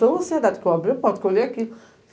Tão ansiedade que eu abri a porta, que eu olhei aqui.